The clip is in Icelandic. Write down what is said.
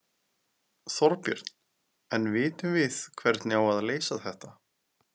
Þorbjörn: En vitum við hvernig á að leysa þetta?